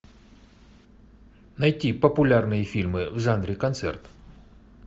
найти популярные фильмы в жанре концерт